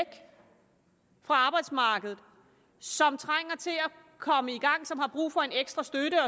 fra arbejdsmarkedet som trænger til at komme i gang og som har brug for en ekstra støtte